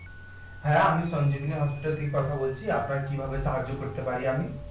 হ্যাঁ আমি সঞ্জীবনী হসপিটাল থেকে কথা বলছি আপনার কিভাবে সাহায্য করতে পারি আমি?